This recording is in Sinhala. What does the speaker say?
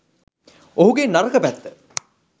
ඔහුගේ නරක පැත්ත